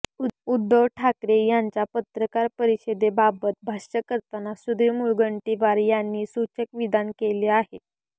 उद्धव ठाकरे यांच्या पत्रकार परिषदेबाबत भाष्य करताना सुधीर मुंनगंटीवार यांनी सूचक विधान केले आहे